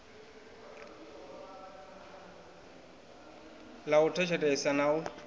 ḽa u tshetshelesa na u